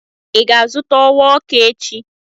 Ị ga-azụta ọwaọkụ echi?